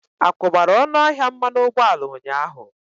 Akwubara ọnụ ahịa mmanụ ụgbọala ụnyaahụ?